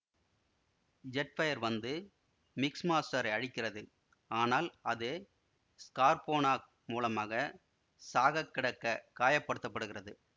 Jetfire வந்து மிக்ஸ்மாஸ்டரை அழிக்கிறது ஆனால் அது ஸ்கார்பொனாக் மூலமாக சாகக்கிடக்க காயப்படுத்தப்படுகிறது